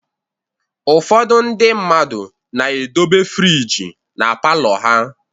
Ụfọdụ ndị mmadụ na-edobe friji na palọ ha